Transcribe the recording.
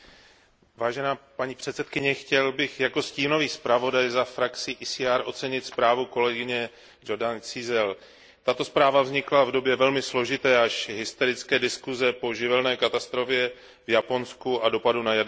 Paní předsedající, chtěl bych jako stínový zpravodaj za frakci ECR ocenit zprávu kolegyně Jordan Cizelj. Tato zpráva vznikla v době velmi složité, až hysterické diskuse po živelné katastrofě v Japonsku a dopadu této katastrofy na jaderné elektrárny.